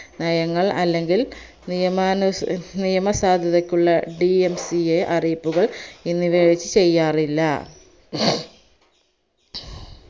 നയങ്ങൾ അല്ലെങ്കിൽ നിയമാനുസ് നിയമസാദ്യധക്കുള്ള dmca അറിയിപ്പുകൾ എന്നിവവച് ചെയ്യാറില്ല